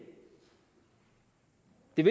vil